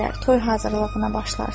Toy hazırlığına başlarsınız.